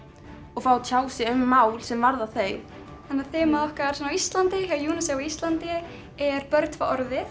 og fái að tjá sig um mál sem varða þau þannig þemað okkar á Íslandi hjá Unicef á Íslandi er börn fá orðið